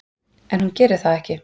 En hún gerir það ekki.